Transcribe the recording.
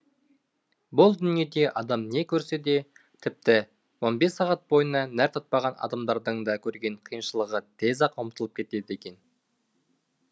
бұл дүниеде адам не көрсе де тіпті он бес сағат бойына нәр татпаған адамдардың да көрген қиыншылығы тез ақ ұмытылып кетеді екен